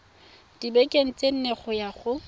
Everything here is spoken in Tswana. dibekeng tse nne go ya